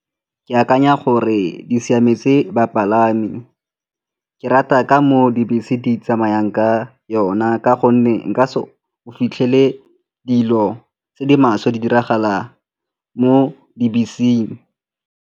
Ke akanya gore di siametse bapalami. Ke rata ka moo dibese di tsamayang ka yona ka gonne nka o fitlhele dilo tse di maswe di diragala mo dibeseng.